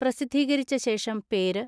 പ്രസിദ്ധീകരിച്ച ശേഷം പേര്